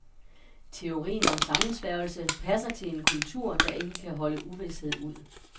Teorien om sammensværgelse passer til en kultur, der ikke kan holde uvished ud.